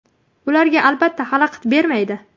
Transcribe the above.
Ularga albatta xalaqit bermaydi.